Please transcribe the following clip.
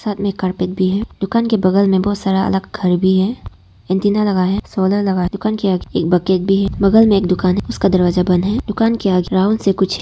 साथ में एक कारपेट भी है दुकान के बगल में बहुत सारा अलग घर भी है एंटीना लगा है सोलर लगा है दुकान के आगे एक बकेट भी है बगल में एक दुकान है उसका दरवाजा बंद है दुकान के आगे राउंड से कुछ है।